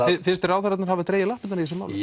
finnst þér ráðherrarnir hafa dregið lappirnar í þessu máli